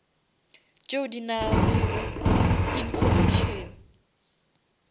tšeo di nalego information